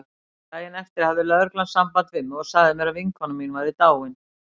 Daginn eftir hafði lögreglan samband við mig og sagði mér að vinkona mín væri dáin.